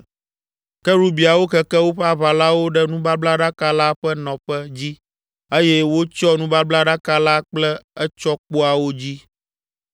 Kerubiawo keke woƒe aʋalawo ɖe nubablaɖaka la ƒe nɔƒe dzi eye wotsyɔ nubablaɖaka la kple etsɔkpoawo dzi.